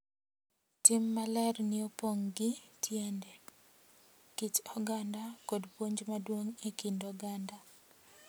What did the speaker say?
Tim maler ni opong' gi tiende, kit oganda, kod puonj maduong' e kind oganda,